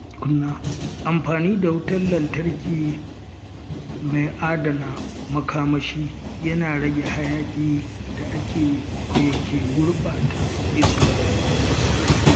Amfani da wutar lantarki mai adana makamashi yana rage hayaƙin da ke gurɓata iska.